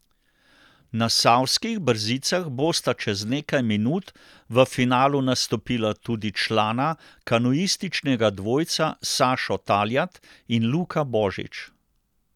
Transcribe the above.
Na savskih brzicah bosta čez nekaj minut v finalu nastopila tudi člana kanuističnega dvojca Sašo Taljat in Luka Božič.